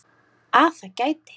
Að það gæti.